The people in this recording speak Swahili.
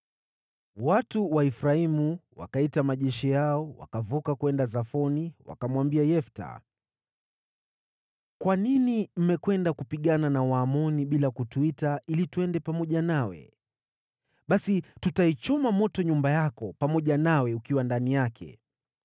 Watu wa Efraimu wakaita majeshi yao, wakavuka kwenda Zafoni, wakamwambia Yefta, “Kwa nini mmekwenda kupigana na Waamoni bila kutuita ili twende pamoja nawe? Basi tutaichoma moto nyumba yako, pamoja nawe ukiwa ndani yake.”